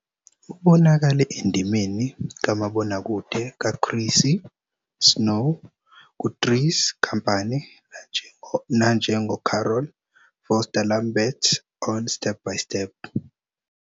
Ubonakale endimeni kamabonakude kaChrissy Snow ku- "Three's Company" nanjengoCarol Foster Lambert on "Step by Step."